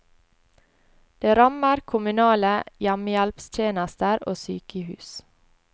Det rammer kommunale hjemmehjelpstjenester og sykehus.